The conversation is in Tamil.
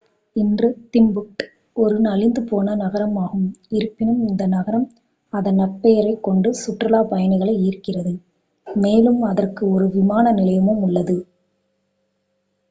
இன்று திம்புக்ட் ஒரு நலிந்துபோன நகரமாகும் இருப்பினும் இந்த நகரம் அதன் நற்பெயரைக் கொண்டு சுற்றுலாப் பயணிகளை ஈர்க்கிறது மேலும் அதற்கு ஒரு விமான நிலையமும் உள்ளது